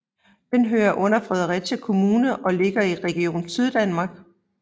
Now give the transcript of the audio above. Den hører under Fredericia Kommune og ligger i Region Syddanmark